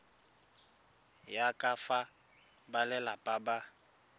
ya ka fa balelapa ba